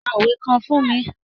Pa òwe kan fún mi.